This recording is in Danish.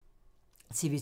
TV 2